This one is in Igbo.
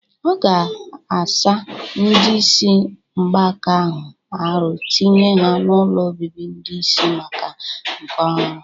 Ọ ga-asa ndị isi mgbaka ahụ arụ tinye ha n'ụlọ obibi ndi isi mgbaka nke ọhụrụ